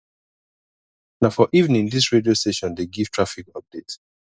na for evening dis radio station dey give traffic update